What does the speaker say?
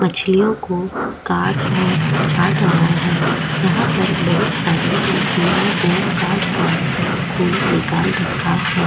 मछलियो को काट और छाट रहा है यहा पे बहुत सारे मछलियो को काट काट के खून निकाल रखा है।